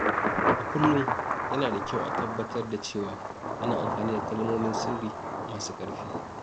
A kullum, yana da kyau a tabbatar da cewa ana amfani da kalmomin sirri masu ƙarfi.